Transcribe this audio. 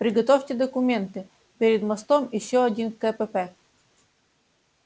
приготовьте документы перед мостом ещё один кпп